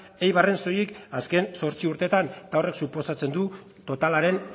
eibarren soilik azken zortzi urteetan eta horrek suposatzen du totalaren